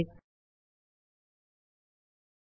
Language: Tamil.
ப்5